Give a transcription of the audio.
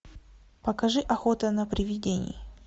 покажи охота на привидений